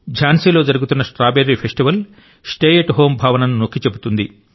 ఝాన్సీలో జరుగుతున్న strawberry festival stay at home భావనను నొక్కి చెబుతుంది